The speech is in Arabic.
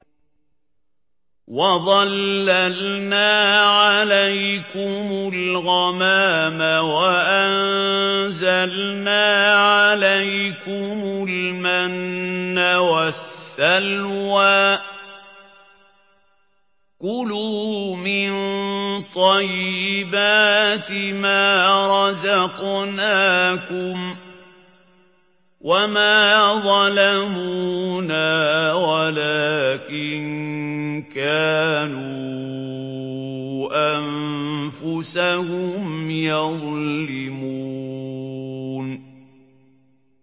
وَظَلَّلْنَا عَلَيْكُمُ الْغَمَامَ وَأَنزَلْنَا عَلَيْكُمُ الْمَنَّ وَالسَّلْوَىٰ ۖ كُلُوا مِن طَيِّبَاتِ مَا رَزَقْنَاكُمْ ۖ وَمَا ظَلَمُونَا وَلَٰكِن كَانُوا أَنفُسَهُمْ يَظْلِمُونَ